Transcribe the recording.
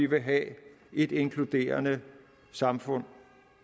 vil have et inkluderende samfund